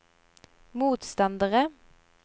motstandere